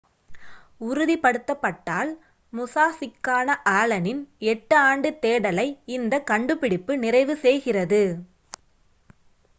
உறுதிப்படுத்தப்பட்டால் முசாஷிக்கான ஆலனின் எட்டு-ஆண்டு தேடலை இந்த கண்டுபிடிப்பு நிறைவு செய்கிறது